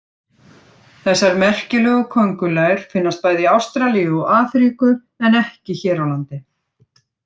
Þessar merkilegu köngulær finnast bæði í Ástralíu og Afríku en ekki hér á landi.